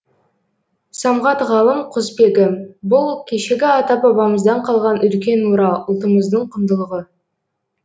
самғат ғалым құсбегі бұл кешегі ата бабамыздан қалған үлкен мұра ұлтымыздың құндылығы